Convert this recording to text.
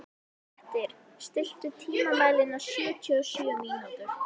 Grettir, stilltu tímamælinn á sjötíu og sjö mínútur.